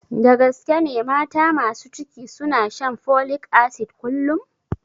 Da gaske ne mata masu ciki suna shan folik asid kullum?